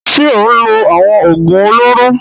Ṣé ó ń lo àwọn òògùn olóró?